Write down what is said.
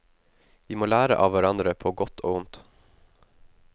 Vi må lære av hverandre på godt og ondt.